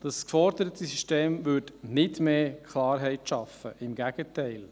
Das geforderte System brächte nicht mehr Klarheit; im Gegenteil.